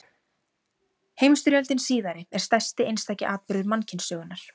Heimsstyrjöldin síðari er stærsti einstaki atburður mannkynssögunnar.